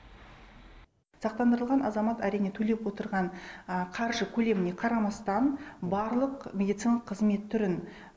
сақтандырылған азамат әрине төлеп отырған қаржы көлеміне қарамастан барлық медициналық қызмет түрін